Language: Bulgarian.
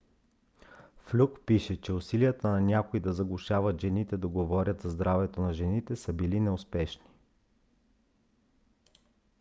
флюк пише че усилията на някои да заглушат жените да говорят за здравето на жените са били неуспешни